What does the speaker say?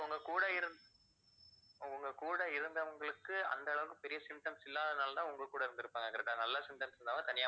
கூட இருந்~ உங்க கூட இருந்தவங்களுக்கு அந்த அளவுக்கு பெரிய symptoms இல்லாதனாலதான் உங்க கூட இருந்துருப்பாங்க correct ஆ நல்லா symptoms இருந்தவங்க தனியா